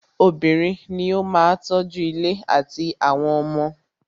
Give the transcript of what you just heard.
Obìnrin ní o máà tọ́ju ilé àtí àwọn ọmọ.